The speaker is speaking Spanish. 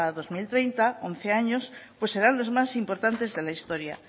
dos mil treinta once años pues serán los más importantes de la historia